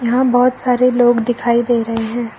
यहां बहुत सारे लोग दिखाई दे रहे हैं।